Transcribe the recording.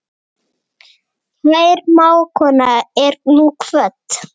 Kær mágkona er nú kvödd.